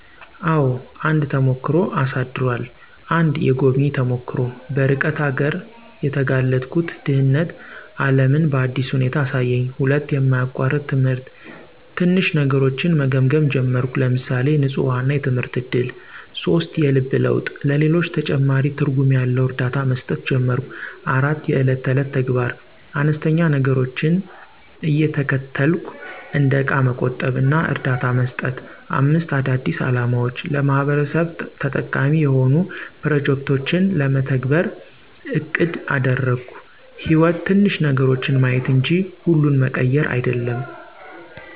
**አዎ፣ አንድ ተሞክሮ አሳድሯል!** 1. **የጎብኚ ተሞክሮ** - በርቀት አገር የተጋለጥኩት ድህነት ዓለምን በአዲስ ሁኔታ አሳየኝ። 2. **የማያቋርጥ ትምህርት** - ትንሽ ነገሮችን መገምገም ጀመርኩ (ለምሳሌ፣ ንፁህ ውሃ እና የትምህርት እድል)። 3. **የልብ ለውጥ** - ለሌሎች ተጨማሪ ትርጉም ያለው እርዳታ መስጠት ጀመርኩ። 4. **የዕለት ተዕለት ተግባር** - አነስተኛ ነገሮችን እየተከተልኩ (እንደ እቃ መቆጠብ እና እርዳታ መስጠት)። 5. **አዳዲስ አላማዎች** - ለማህበረሰብ ተጠቃሚ የሆኑ ፕሮጀክቶችን ለመተግበር አቅድ አደረግኩ። > _"ሕይወት ትንሽ ነገሮችን ማየት እንጂ ሁሉን መቀየር አይደለም!"_